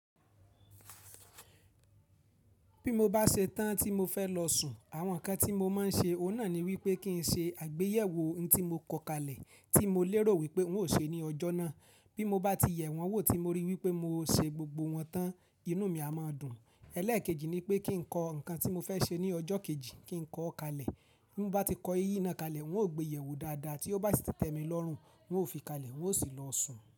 Bí mo bá ṣe tán tí mo fẹ́ lọ sùn, àwọn ǹkan tí mo máa ń ṣe, ọ̀nà ni wípé kí n ṣe àgbéyẹ̀wò ohun tí mo kọ kalẹ̀ tí mo lérò wípé n ó ṣe ní ọjọ́ náà. Bí mo bá ti yẹ̀ wọn wò tí mo rí wípé mo ṣe gbogbo wọn tán, inú mi a máa dùn. Ẹlẹ́ẹ̀kejì ni pé kí n kọ ǹkan tí mo fẹ́ ṣe ní ọjọ́ kejì kí n kọ ó kalẹ̀. Bí mo bá ti kọ iyì náà kalẹ̀, n ó gbéyẹ̀wò dáadáa tí ó bá ti tẹ́mi lọ́rùn, n ó fi kalẹ̀, n ó sì lọ sùn.